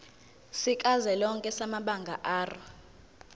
sikazwelonke samabanga r